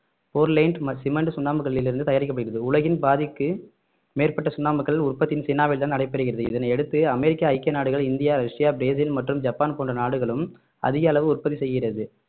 Portland cement சுண்ணாம்புக்கல்லிலிருந்து தயாரிக்கப்படுகிறது உலகின் பாதிக்கு மேற்பட்ட சுண்ணாம்புகல் உற்பத்தி சீனாவில்தான் நடைபெறுகிறது இதனை அடுத்து அமெரிக்க ஐக்கிய நாடுகள் இந்தியா ரஷ்யா பிரேசில் மற்றும் ஜப்பான் போன்ற நாடுகளும் அதிக அளவு உற்பத்தி செய்கிறது